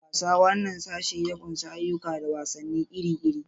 Playing: This section includes a variety of recreational activities and games.